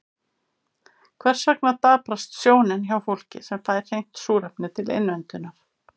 Hvers vegna daprast sjónin hjá fólki sem fær hreint súrefni til innöndunar?